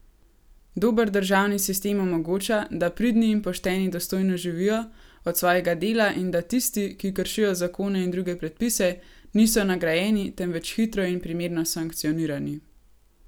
Dober državni sistem omogoča, da pridni in pošteni dostojno živijo od svojega dela in da tisti, ki kršijo zakone in druge predpise, niso nagrajeni, temveč hitro in primerno sankcionirani.